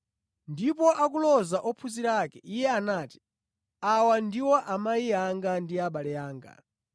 Ndipo akuloza ophunzira ake, Iye anati, “Awa ndiwo amayi anga ndi abale anga.